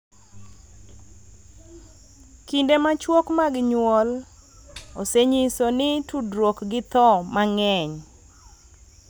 Kinde machuok mag nyuol osenyiso ni tudruok gi tho mang�eny,